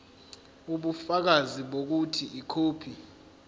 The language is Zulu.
ubufakazi bokuthi ikhophi